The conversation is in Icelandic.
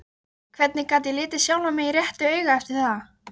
Hvernig gat ég litið sjálfan mig réttu auga eftir það?